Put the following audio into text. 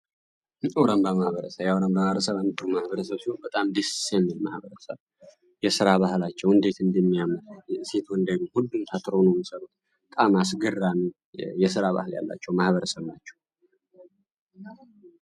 አውራንባ ማህበረሰ የኦረንባ ማረሰንጡ ማህበረሰብ ሲሆ በጣም ዲሴሜ ማህበረሰብ የስራ ባህላቸው እንዴት እንዲሚያመር ሴቱ እንዴግ ሁዱም ተትሮ ነውን ሰሩት ቃም አስግራን የሥራ ባህል ያላቸው ማህበረሰብ ናቸው።